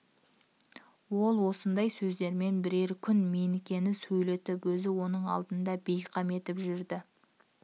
ол осындай сөздермен бірер күн менікені сөйлетіп өзін оның алдында бейқам етіп жүрді